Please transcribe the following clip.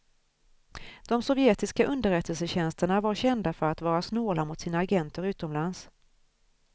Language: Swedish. De sovjetiska underrättelsetjänsterna var kända för att vara snåla mot sina agenter utomlands.